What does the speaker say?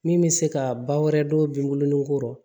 Min bɛ se ka ba wɛrɛ don binko kɔrɔ